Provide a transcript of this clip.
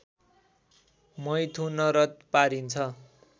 मैथुनरत पारिन्छ